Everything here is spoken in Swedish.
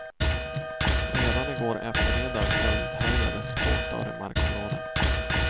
Redan i går eftermiddag eldhärjades två större markområden.